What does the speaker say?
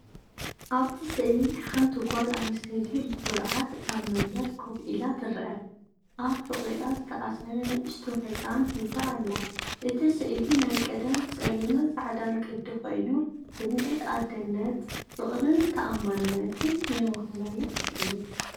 ኣብቲ ስእሊ ሓንቲ ጓል ኣንስተይቲ ብኹርዓት ኣብ መንበር ኮፍ ኢላ ትርአ። ኣብ ሕቖኣ ዝተኣስረ ንእሽቶ ህጻን ሒዛ ኣላ። እቲ ስእሊ ናይ ቀደም ጸሊምን ጻዕዳን ቅዲ ኮይኑ፡ ስምዒት ኣደነት፡ ፍቕርን ተኣማንነትን ዘመሓላልፍ እዩ።